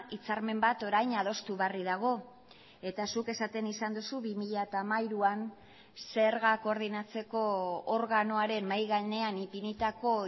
hitzarmen bat orain adostu berri dago eta zuk esaten izan duzu bi mila hamairuan zerga koordinatzeko organoaren mahai gainean ipinitako